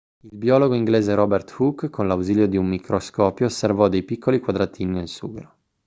il biologo inglese robert hooke con l'ausilio di un microscopio osservò dei piccoli quadratini nel sughero